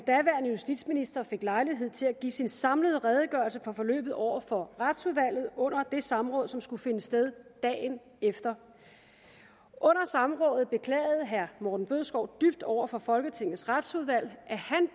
justitsminister fik lejlighed til at give sin samlede redegørelse for forløbet over for retsudvalget under det samråd som skulle finde sted dagen efter under samrådet beklagede herre morten bødskov dybt over for folketingets retsudvalg at